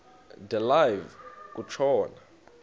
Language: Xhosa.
de live kutshona